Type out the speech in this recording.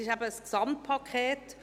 Es ist eben ein Gesamtpaket.